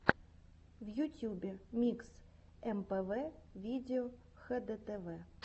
в ютюбе микс мпв видео хдтв